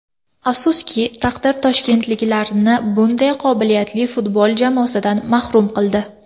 Afsuski, taqdir toshkentliklarni bunday qobiliyatli futbol jamoasidan mahrum qildi.